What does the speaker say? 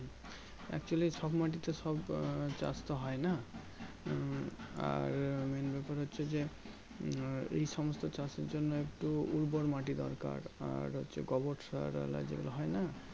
Actually সব মাটিতে সব আহ চাষ হয় না উম আর Main ব্যাপার হচ্ছে যে এই সমস্ত চাষের জন্য একটু উর্বর মাটি দরকার আর হচ্ছে গোবর সার আর আলাদা যাই গুলো হয় না